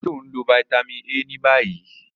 Ṣe o nlo Vitamin A ni bayi?